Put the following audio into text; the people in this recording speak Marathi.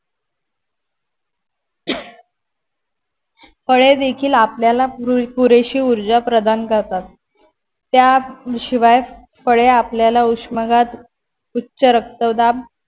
फळे देखील आपल्याला पुरेशी ऊर्जा प्रदान करतात त्या शिवाय फळे आपल्याला उष्मघात उच्च रक्तदाब